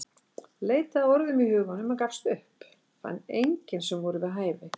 Leitaði að orðum í huganum en gafst upp, fann engin sem voru við hæfi.